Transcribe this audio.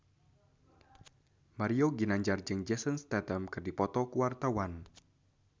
Mario Ginanjar jeung Jason Statham keur dipoto ku wartawan